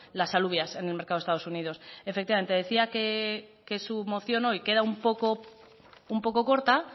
las alubias en el mercado de estados unidos efectivamente decía que su moción hoy queda un poco corta